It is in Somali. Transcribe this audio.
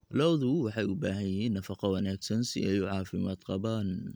Lo'du waxay u baahan yihiin nafaqo wanaagsan si ay u caafimaad qabaan.